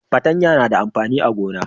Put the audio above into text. patanya na da amfani a gona